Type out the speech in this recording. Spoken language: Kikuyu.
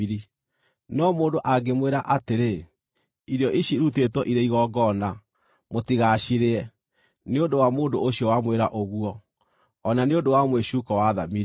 No mũndũ angĩmwĩra atĩrĩ, “Irio ici irutĩtwo irĩ igongona,” mũtigacirĩe, nĩ ũndũ wa mũndũ ũcio wamwĩra ũguo, o na nĩ ũndũ wa mwĩcuuko wa thamiri;